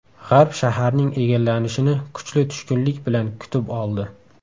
G‘arb shaharning egallanishini kuchli tushkunlik bilan kutib oldi.